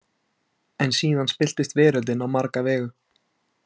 En síðan spillist veröldin á marga vegu.